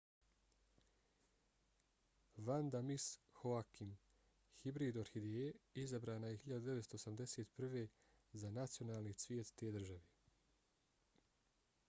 vanda miss joaquim hibrid orhideje izabrana je 1981. za nacionalni cvijet te države